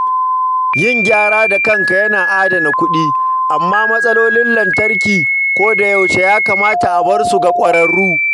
Yin gyaran da kanka yana adana kuɗi, amma matsalolin lantarki koyaushe ya kamata a bar su ga ƙwararru.